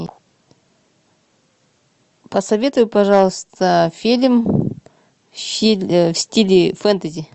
посоветуй пожалуйста фильм в стиле фэнтези